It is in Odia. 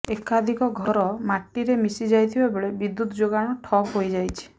ଏକାଧିକ ଘର ମାଟିରେ ମିଶି ଯାଇଥିବା ବେଳେ ବିଦ୍ୟୁତ୍ ଯୋଗାଣ ଠପ୍ ହୋଇଯାଇଛି